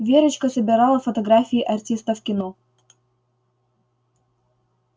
верочка собирала фотографии артистов кино